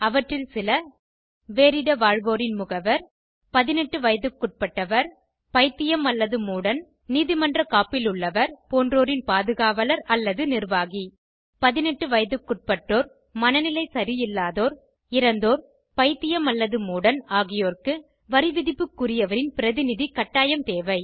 அவற்றில் சில வேறிட வாழ்வோரின் முகவர் 18 வயதுகுட்பட்டவர் பைத்தியம் அல்லது மூடன் நீதிமன்றக் காப்பிலுள்ளவர் போன்றோரின் பாதுகாவலர் அல்லது நிர்வாகி 18 வயதுகுட்பட்டோர் மனநிலை சரியில்லாதோர் இறந்தோர் பைத்தியம் அல்லது மூடன் ஆகியோர்க்கு வரிவிதிப்புக்குரியவரின் பிரதிநிதி கட்டாயம் தேவை